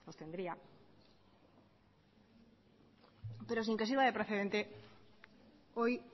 hoy